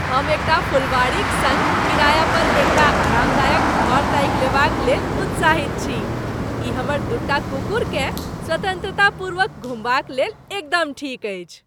हम एकटा फुलवाड़ीक सङ्ग किराया पर एकटा आरामदायक घर ताकि लेबाक लेल उत्साहित छी, ई हमर दूटा कुकुरकेँ स्वतंत्रतापूर्वक घुमबाक लेल एकदम ठीक अछि।